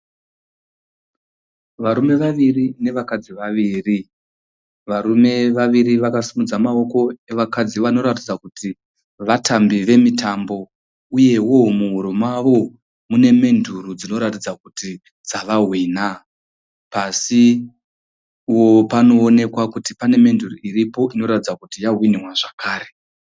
Varume vaviri nevakadzi vaviri. Varume vaviri vakasimudza maoko evakadzi vanoratidza kuti vatambi vemitambo. Uyewo muhuro mavo mune menduru dzinoratidza kuti dzavahwina. Pasí panoonekwa kuti pane menduru iripo inoratidza kuti yahwinwa zvakare.